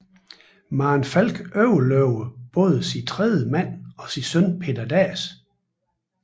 Maren Falch overlevede både sin tredje mand og sin søn Petter Dass